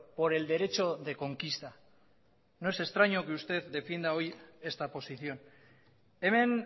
por el derecho de conquista no es extraño que usted defienda hoy esta posición hemen